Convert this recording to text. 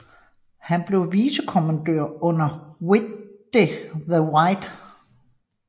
Han blev vicekommandør under Witte de With